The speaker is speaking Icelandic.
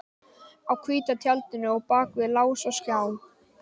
Á hvíta tjaldinu og bak við lás og slá